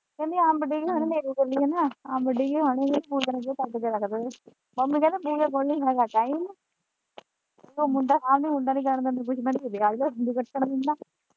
ਕਹਿੰਦੀ ਅੰਬ ਡਿੱਗੇ ਹੋਣੇ ਹਨੇਰੀ ਚੱਲੀ ਹੈ ਨਾ ਅੰਬ ਡਿੱਗੇ ਹੋਣਗੇ ਪੂਜਾ ਨੂੰ ਕਹੀ ਕੱਟ ਕੇ ਰੱਖ ਦੇਵੇ ਮੱਮੀ ਕਹਿੰਦੀ ਪੂਜਾ ਕੋਲ ਨੀ ਹੈਗਾ ਟਾਈਮ ਉਹ ਮੁੰਡਾ ਕਹਿੰਦੀ ਮੁੰਡਾ ਨਹੀਂ ਜਾਣ ਦਿੰਦਾ .